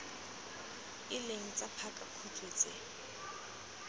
e leng tsa pakakhutshwe tse